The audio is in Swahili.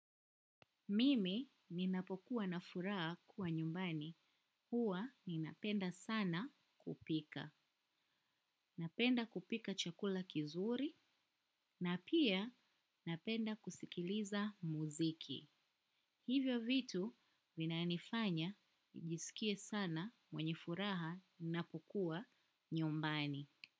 Mimi ninapokuwa na furaha kuwa nyumbani huwa ninapenda sana kupika. Napenda kupika chakula kizuri na pia napenda kusikiliza muziki. Hivyo vitu vinanifanya nijisikie sana mwenye furaha ninapokuwa nyumbani.